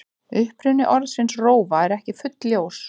Uppruni orðsins rófa er ekki fullljós.